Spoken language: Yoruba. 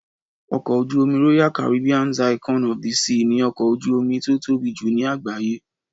Ọkọ̀ ojú-omi Royal Caribbean's Icon of the Seas ni ọkọ̀ ojú-omi tó tóbi jùlọ ní àgbáyé